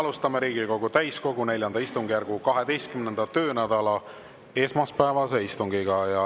Alustame Riigikogu täiskogu IV istungjärgu 12. töönädala esmaspäevast istungit.